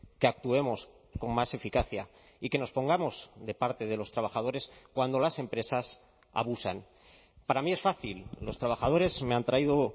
que actuemos con más eficacia y que nos pongamos de parte de los trabajadores cuando las empresas abusan para mí es fácil los trabajadores me han traído